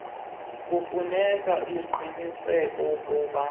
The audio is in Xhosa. kufuneka aqinisekise ukuba